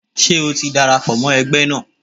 Ṣé o ti darapọ̀ mọ́ ẹgbẹ́ náà?